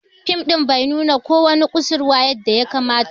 Fim din bai nuna ko wani kusurwa yadda ya kamata ba.